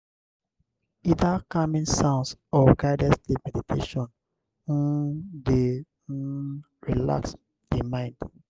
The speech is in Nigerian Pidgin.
either calming sounds or guided sleep meditation um de um relax di mind